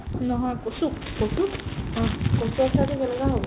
নহয় , কচুক অ